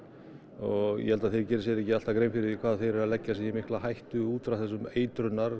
og ég held að þeir geri sér ekki alltaf grein fyrir því hvað þeir eru að leggja sig í mikla hættu út frá þessum eitrunar